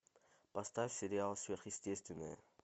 поставь сериал сверхъестественное